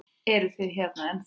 Eruð þið hérna ennþá?